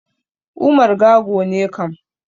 Umar Gago ne kam.